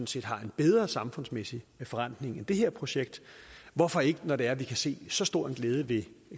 set har en bedre samfundsmæssig forrentning end det her projekt hvorfor ikke når det er at vi kan se så stor en glæde ved